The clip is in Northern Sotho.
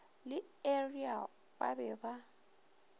le ariel ba be ba